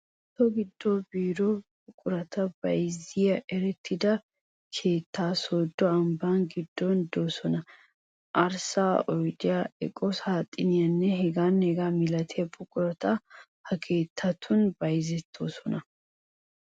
So giddonne biiro buqurata bayziya erettida keettati Sooddo ambbaa giddon de"oosona. Arssay, oydee, eqo saaxineenne hegaanne hegaa milatiya buqurati ha keettatun bayzettoosona.